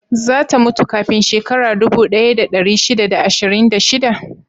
Za ta mutu kafin shekaru dubu ɗaya da ɗari shida da ashirin da sha ɗaya?